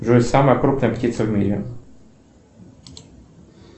джой самая крупная птица в мире